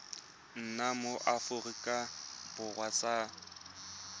nna mo aforika borwa sa